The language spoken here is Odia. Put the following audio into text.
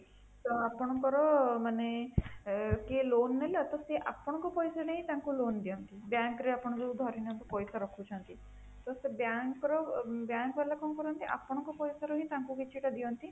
ତ ଆପଣଙ୍କର ମାନେ କିଏ loan ନେଲା ତ ସିଏ ଆପଣଙ୍କ ପଇସା ନେଇ ତାଙ୍କୁ loan ଦିଅନ୍ତି bank ରେ ଯୋଉ ଆପଣ ଯୋଉ ଧରିନିଅନ୍ତୁ ପଇସା ରଖୁଛନ୍ତି ତ ସେଇ bank ର bank ଵାଲା କଣ କରନ୍ତି ଆପଣଙ୍କର ପଇସା ରୁ ତାଙ୍କୁ କିଛି ଦିଅନ୍ତି